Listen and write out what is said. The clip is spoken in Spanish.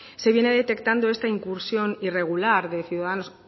se viene detectando esta incursión irregular de ciudadanos